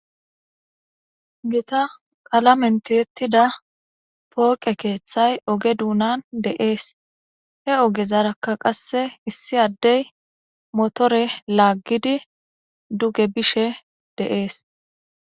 gita qalamentiyettida pooqe keeththay oge duunan de7ees he oge zarakka qasse issi addey motore laaggidi duge bishe de7ees